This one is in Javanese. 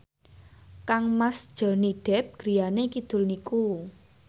kangmas Johnny Depp griyane kidul niku